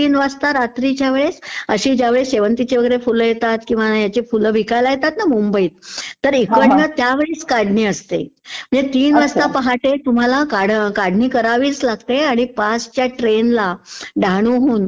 तीन वाजता रात्रीच्या वेळेस अशी ज्यावेळेस शेवंतीची वगैरे फुल येतात ना, मुंबईत तर इकडनं त्यावेळीचं काढणी असते. म्हणजे तीन वाजता पहाटे तुम्हाला काढणी करावीच लागते, आणि पाचच्या ट्रेनला डहाणूहून